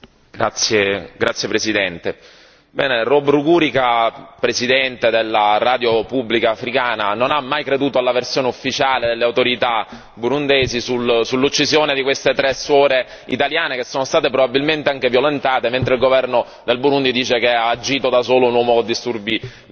Signor Presidente, onorevoli colleghi, Bob Rugurika, presidente della radio pubblica africana, non ha mai creduto alla versione ufficiale delle autorità burundesi sull'uccisione di queste tre suore italiane, che sono state probabilmente anche violentate, mentre il governo del Burundi dice che ha agito da solo un uomo con disturbi mentali.